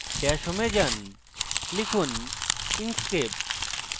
dash home এ যান এবং লিখুন inkscape